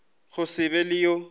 go se be le yo